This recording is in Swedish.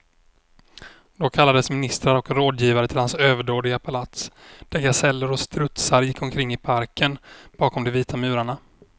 Då kallades ministrar och rådgivare till hans överdådiga palats, där gaseller och strutsar gick omkring i parken bakom de vita murarna.